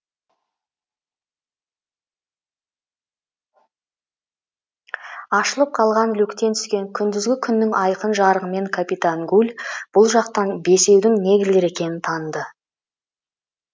ашылып қалған люктен түскен күндізгі күннің айқын жарығымен капитан гуль бұл жатқан бесеудің негрлер екенін таныды